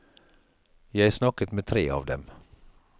Jeg snakket med tre av dem.